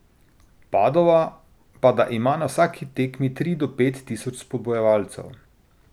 Padova pa da ima na vsaki tekmi tri do pet tisoč spodbujevalcev.